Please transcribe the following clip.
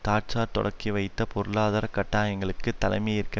Thatcher தொடக்கிவைத்த பொருளாதார கட்டாயங்களுக்கு தலைமை ஏற்க